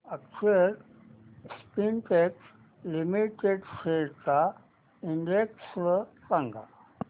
अक्षर Spintex limited shares चा index सांगा